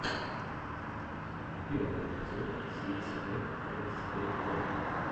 первый эпизод сикс пэк эбз дот ком